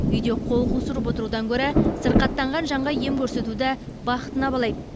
үйде қол қусырып отырудан гөрі сырқаттанған жанға ем көрсетуді бақытына балайды